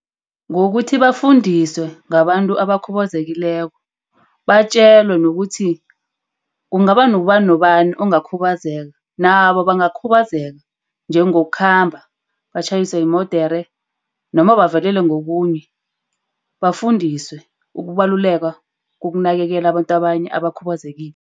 Ngokuthi bafundiswe ngabantu abakhubazekileko. Batjelwe nokuthi kungaba ngubani nobani ongakhuthazeka. Nabo bangakhubazeka. Njengokukhamba batjhayiswe yimodere, noma bavelelwe ngokunye. Bafundiswe ukubaluleka, ukunakekela abantu abanye abakhubazekile.